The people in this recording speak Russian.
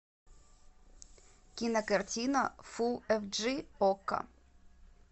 кинокартина фулл эф джи окко